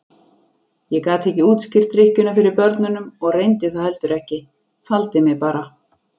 Ég gat ekki útskýrt drykkjuna fyrir börnunum og reyndi það heldur ekki, faldi mig bara.